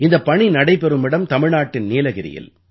இந்தப் பணி நடைபெறும் இடம் தமிழ்நாட்டின் நீலகிரியில்